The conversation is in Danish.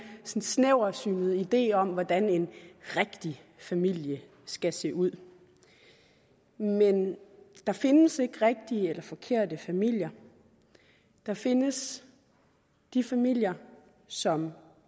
snæversynet idé om hvordan en rigtig familie skal se ud men der findes ikke rigtige eller forkerte familier der findes familier som